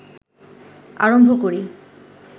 আরম্ভ করি